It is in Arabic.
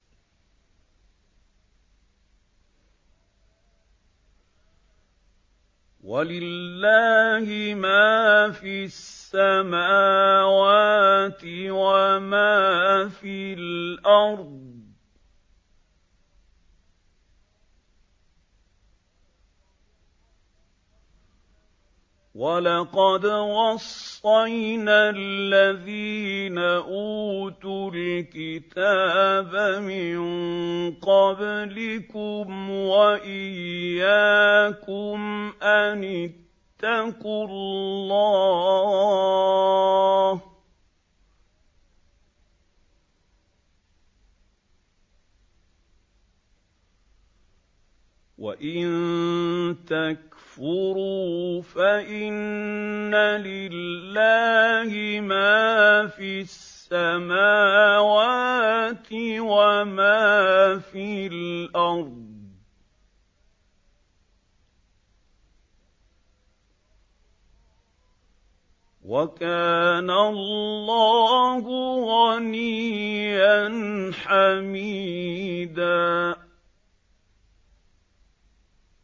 وَلِلَّهِ مَا فِي السَّمَاوَاتِ وَمَا فِي الْأَرْضِ ۗ وَلَقَدْ وَصَّيْنَا الَّذِينَ أُوتُوا الْكِتَابَ مِن قَبْلِكُمْ وَإِيَّاكُمْ أَنِ اتَّقُوا اللَّهَ ۚ وَإِن تَكْفُرُوا فَإِنَّ لِلَّهِ مَا فِي السَّمَاوَاتِ وَمَا فِي الْأَرْضِ ۚ وَكَانَ اللَّهُ غَنِيًّا حَمِيدًا